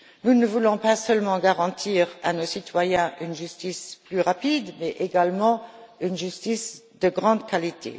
Nous ne voulons pas seulement garantir à nos citoyens une justice plus rapide mais également une justice de grande qualité.